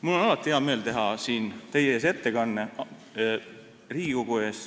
Mul on alati hea meel teha siin Riigikogu ees ettekanne.